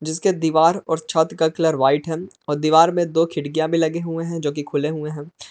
जिसके दीवार और छत का कलर व्हाइट है और दीवार में दो खिड़कियां भी लगे हुए हैं जो कि खुले हुए हैं।